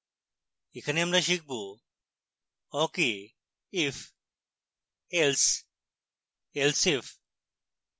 এখানে আমরা শিখবawk we if else else if